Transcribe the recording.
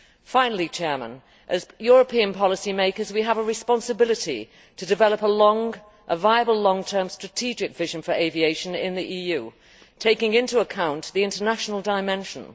Finally, as European policy makers, we have a responsibility to develop a viable long term strategic vision for aviation in the EU, taking into account the international dimension.